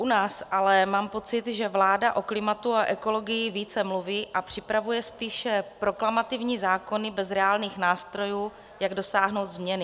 U nás ale mám pocit, že vláda o klimatu a ekologii více mluví a připravuje spíše proklamativní zákony bez reálných nástrojů, jak dosáhnout změny.